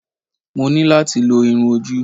Mo ní láti lo irun-ojú